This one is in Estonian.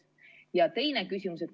Ja teine küsimus.